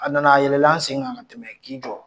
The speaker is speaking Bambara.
A nana, a yɛlɛ la an sen kan ka tɛmɛ k'i jɔ.